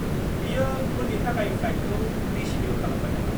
बियो उन्नि थाखाय फ्लाइटखौ रिशेद्युल खालामबाय नामा?